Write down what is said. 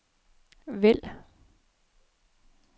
vælg